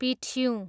पिठ्युँ